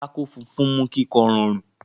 pátákó funfun mú kíkọ́ rọrùn.